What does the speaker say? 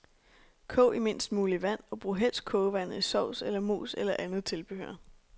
Kog i mindst muligt vand og brug helst kogevandet i sovs eller mos eller andet tilbehør.